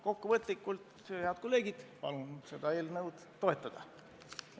Kokku võttes, head kolleegid, palun seda eelnõu toetada.